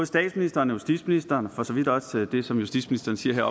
statsministeren og justitsministeren siger og for så vidt også det som justitsministeren siger